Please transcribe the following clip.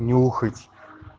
нюхать